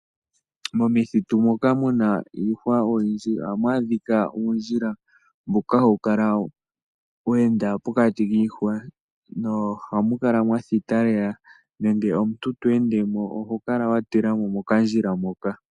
momithitu moka muna iihwa oyindji oha mwaa dhika uundjila mboka hawu kala weenda pokati kiihwa nohamu kala mwathita lela nenge omuntu tweendemo oho kala watilamo mokandjila moka.